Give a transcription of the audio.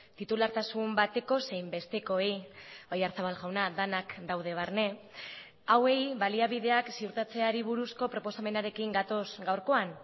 titulartasun bateko zein bestekoei oyarzábal jauna denak daude barne hauei baliabideak ziurtatzeari buruzko proposamenarekin gatoz gaurkoan